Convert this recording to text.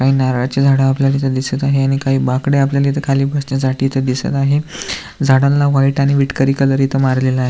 काही नारळाची झाडं आपल्याला इथे दिसत आहे आणि काही बाकडे आपल्याला इथ खाली बसण्यासाठी इथे दिसत आहे. झाडाना व्हाइट आणि विटकरी कलर इथ मारलेला आहे.